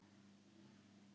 Ég kyssi hana.